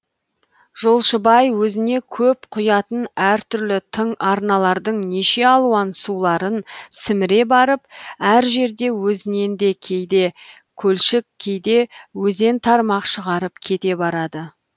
жолшыбай өзіне көп құятын әр түрлі тың арналардың неше алуан суларын сіміре барып әр жерде өзінен де кейде көлшік кейде өзен тармақ шығарып кете барады